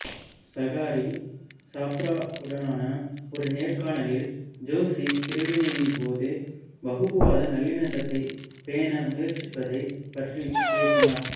சாகரி சாப்ராவுடனான ஒரு நேர்காணலில் ஜோஷி பிரிவினையின்போது வகுப்புவாத நல்லிணக்கத்தைப் பேண முயற்சிப்பதைப் பற்றி பேசினார்